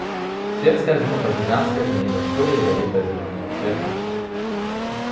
свет скользнул по гигантской змеиной шкуре ядовито-зелёного цвета